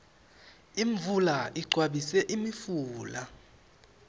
imvula igcwabisa imifula